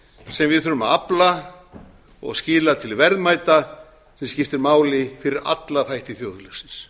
sem við þurfum að afla og skila til verðmæta sem skiptir máli fyrir alla þætti þjóðlífsins